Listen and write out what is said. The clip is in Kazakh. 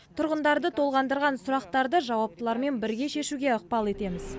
тұрғындарды толғандырған сұрақтарды жауаптылармен бірге шешуге ықпал етеміз